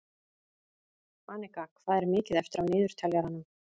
Anika, hvað er mikið eftir af niðurteljaranum?